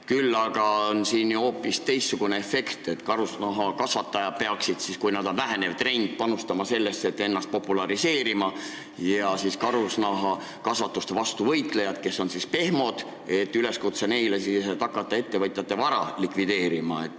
Küll aga on siin ju hoopis teistsugune efekt, et karusloomakasvatajad peaksid – kui karusloomakasvatus on vähenev trend – panustama sellesse, et ennast populariseerida, ja karusloomakasvatuse vastu võitlejatele, kes on pehmod, on üleskutse hakata ettevõtjate vara likvideerima.